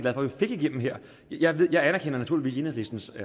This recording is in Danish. at vi fik igennem her jeg jeg anerkender naturligvis enhedslistens